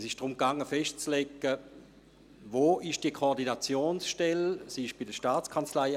Es ging darum festzulegen, wo die Koordinationsstelle ist;